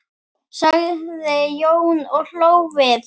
sagði Jón og hló við.